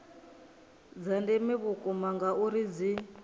dza ndeme vhukuma ngauri dzi